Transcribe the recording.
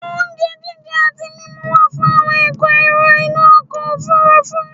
Ohun jíjẹ àti mímu wa fún àwon èrò inú ọkọ̀ òfurufú